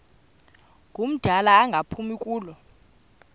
ngumdala engaphumi kulo